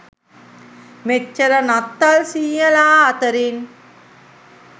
මෙච්චර නත්තල් සීයලා අතරින්